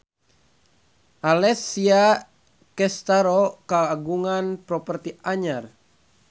Alessia Cestaro kagungan properti anyar